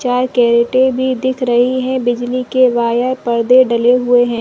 चाय करटे भी दिख रही है बिजली के वायर पर्दे डले हुए है।